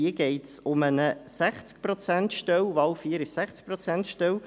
hier geht es um eine 60-Prozent-Stelle.